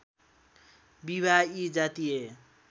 विवाह यी जातीय